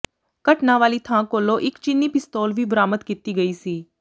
ਘਟਨਾ ਵਾਲੀ ਥਾਂ ਕੋਲੋਂ ਇਕ ਚੀਨੀ ਪਿਸਤੌਲ ਵੀ ਬਰਾਮਦ ਕੀਤੀ ਗਈ ਸੀ